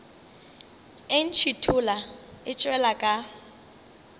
e ntšhithola e tšwela ka